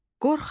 qorxaq,